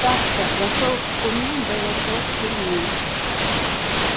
так-то зашёл к куме да засел в тюрьме